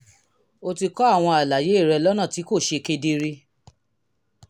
o ti kọ àwọn àlàyé rẹ lọ́nà tí kò ṣe kedere